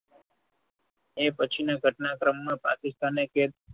એ પછીના ઘટનાક્રમમાં પાકિસ્તાને